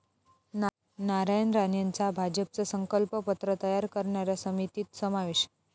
नारायण राणेंचा भाजपचं 'संकल्प पत्र' तयार करणाऱ्या समितीत समावेश